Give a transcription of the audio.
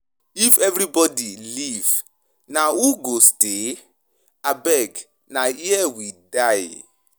If everybody leave, na who go stay? Abeg na here we die.